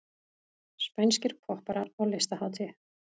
Spænskir popparar á listahátíð